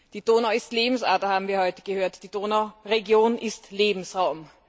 Die Donau ist Lebensader, haben wir heute gehört, die Donauregion ist Lebensraum.